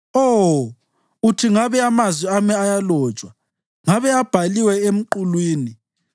Oh, uthi ngabe amazwi ami ayalotshwa, ngabe abhaliwe emqulwini,